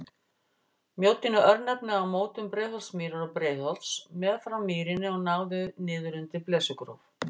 Mjóddin er örnefni á mótum Breiðholtsmýrar og Breiðholts, meðfram mýrinni og náði niður undir Blesugróf.